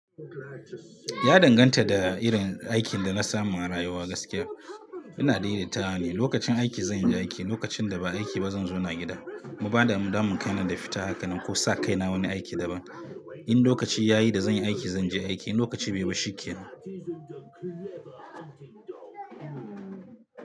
Ya danganta da irin aikin da na samu a rayuwa gaskiya. Ina daidaitawa ne, lokacin aiki zan yi aiki, lokacin da ba aiki ba zan zauna gida. Mu ba da mu damu kai na da fita haka nan ko sa kaina wani aiki daban. In lokaci yayi da zan yi aiki zan je aiki, in lokaci bai yi ba shikenan.